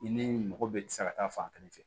I ni mɔgɔ bɛɛ tɛ se ka taa fan kelen fɛ